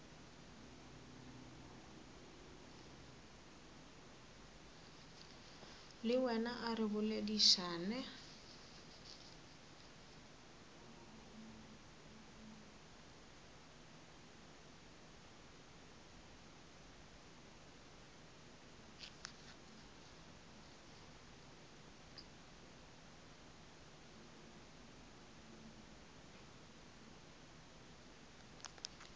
le wena a re boledišane